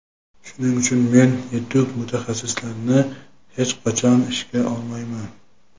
Shuning uchun men yetuk mutaxassislarni hech qachon ishga olmayman.